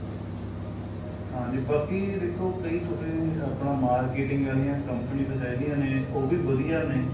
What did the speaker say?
ਹਾਂਜੀ ਬਾਕੀ ਦੇਖੋ ਕਈ ਤੁਸੀਂ ਆਪਣਾ marketing ਵਾਲੀਆਂ companies ਹੈਗੀਆਂ ਨੇ ਉਹ ਵੀ ਵਧੀਆ ਨੇ